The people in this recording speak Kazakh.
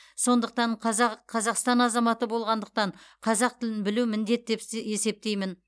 сондықтан қазақ қазақстан азаматы болғандықтан қазақ тілін білу міндет деп есептеймін